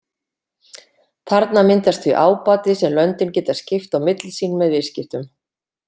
Þarna myndast því ábati sem löndin geta skipt á milli sín með viðskiptum.